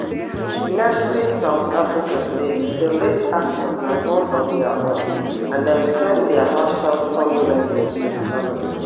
netflix south africa say di late actor na one of dia own and dem send dia heartfelt condolences to di family